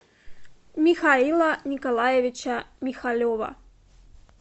михаила николаевича михалева